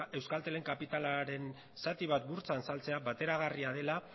euskaltelen kapitalaren zati bat burtsan saltzea bateragarria dela